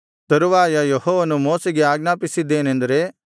ತರುವಾಯ ಯೆಹೋವನು ಮೋಶೆಗೆ ಆಜ್ಞಾಪಿಸಿದ್ದೇನೆಂದರೆ